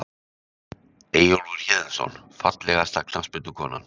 Eyjólfur Héðinsson Fallegasta knattspyrnukonan?